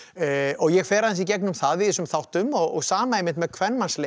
ég fer aðeins í gegnum það í þessum þáttum og sama einmitt með